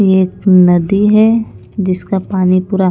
ये एक नदी है जिसका पानी पूरा--